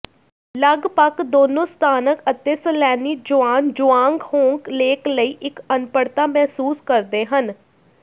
ਲਗਪਗ ਦੋਨੋ ਸਥਾਨਕ ਅਤੇ ਸੈਲਾਨੀ ਜੁਆਨ ਜੂਆਂਗ ਹੋਂਗ ਲੇਕ ਲਈ ਇੱਕ ਅਨਪੜ੍ਹਤਾ ਮਹਿਸੂਸ ਕਰਦੇ ਹਨ